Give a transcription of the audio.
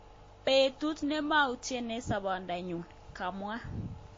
Petut nemautien eng sabondonyun ."kamwa.